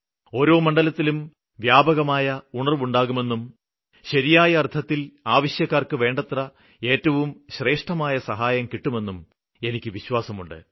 ഓരോ മണ്ഡലത്തിലും വ്യാപകമായ ഉണര്വ്വുണ്ടാകുമെന്നും ശരിയായ അര്ത്ഥത്തില് ആവശ്യക്കാര്ക്ക് വേണ്ടത്ര ഏറ്റവും ശ്രേഷ്ഠമായ സഹായം കിട്ടുമെന്നും എനിയ്ക്ക് വിശ്വാസമുണ്ട്